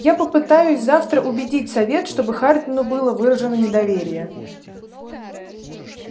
я попытаюсь завтра убедить совет чтобы хардину было выражено недоверие